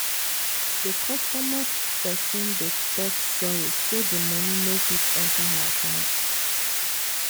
the customer person dey talk sorry say the money no quick enter her account